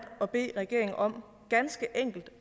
at bede regeringen om ganske enkelt